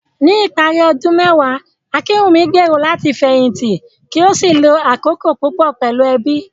Ní ìparí ọdún mẹ́wàá, Akinwunmi gbèrò láti fẹ̀yìntì kí ó sì lo àkókò púpọ̀ pẹ̀lú ẹbí.